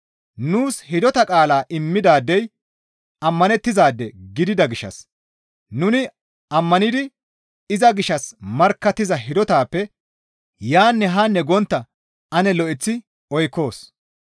Nuus hidota qaalaa immidaadey ammanettizaade gidida gishshas nuni ammanidi iza gishshas markkattiza hidotappe yaanne haa gontta ane lo7eththi oykkoos.